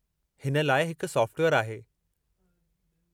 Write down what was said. इन लाइ हिकु सॉफ़्टवेयरु आहे।